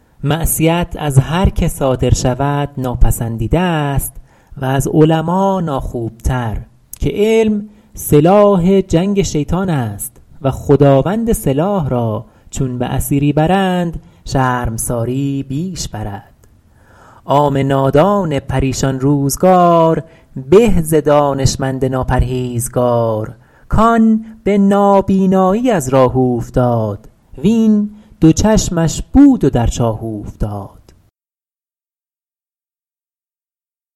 معصیت از هر که صادر شود ناپسندیده است و از علما ناخوبتر که علم سلاح جنگ شیطان است و خداوند سلاح را چون به اسیری برند شرمساری بیش برد عام نادان پریشان روزگار به ز دانشمند ناپرهیزگار کآن به نابینایی از راه اوفتاد وین دو چشمش بود و در چاه اوفتاد